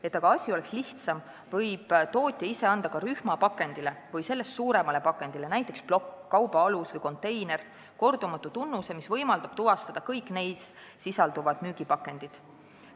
Et aga asi oleks lihtsam, võib ka tootja ise rühmapakendile või sellest suuremale pakendile – näiteks plokk, kaubaalus või konteiner – anda kordumatu tunnuse, mis võimaldab tuvastada kõik neis sisalduvad müügipakendid.